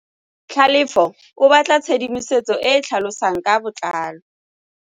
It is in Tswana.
Tlhalefô o batla tshedimosetsô e e tlhalosang ka botlalô.